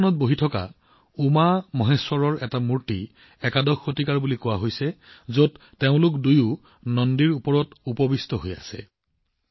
ললিতাসনত বহি থকা উমামহেশ্বৰৰ এটা মূৰ্তি একাদশ শতিকাৰ বুলি কোৱা হয় যত দুয়োজনেই নন্দীৰ ওপৰত বহি আছে